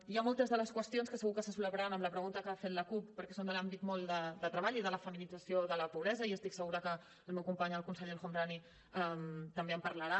hi han moltes de les qüestions que segur que se solaparan amb la pregunta que ha fet la cup perquè són de l’àmbit molt de treball i de la feminització de la pobresa i estic segura que el meu company el conseller el homrani també en parlarà